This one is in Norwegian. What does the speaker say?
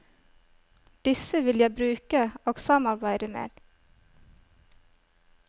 Disse vil jeg bruke og samarbeide med.